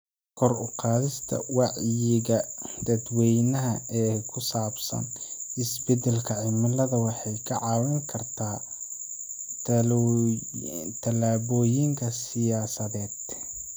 Kor u qaadista wacyiga dadweynaha ee ku saabsan isbeddelka cimilada waxay ka caawin kartaa tallaabooyinka siyaasadeed.